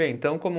Bem, então como